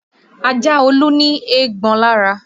Ajá Olú ní eégbọn lára